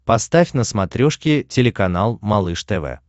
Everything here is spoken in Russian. поставь на смотрешке телеканал малыш тв